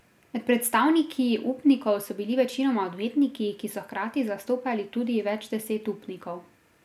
Med predstavniki upnikov so bili večinoma odvetniki, ki so hkrati zastopali tudi več deset upnikov.